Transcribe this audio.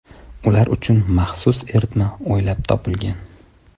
Ular uchun maxsus eritma o‘ylab topilgan.